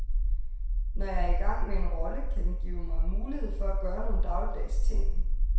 Når jeg er i gang med en rolle, kan den give mig mulighed for at gøre nogle dagligdags ting.